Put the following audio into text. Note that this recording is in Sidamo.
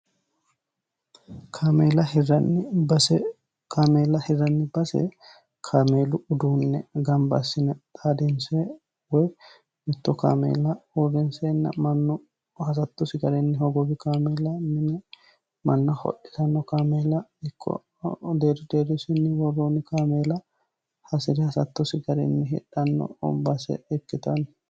kaameela hiranni base kaameela hiranni base kaameelu uduunne gambba assine xaadinse woy mitto kaameela uurinseenna mannu hasattosi garinni hogobi kaameela mine manna hodhitanno kaameela ikko deeri deerisinni woroonni kaameela hasi'ri hasattosi garinni hidhanno umbaase ikkitanno